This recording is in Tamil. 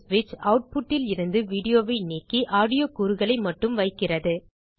vn ஸ்விட்ச் ஆட்புட் இலிருந்து வீடியோவை நீக்கி ஆடியோ கூறுகளை மட்டும் வைக்கிறது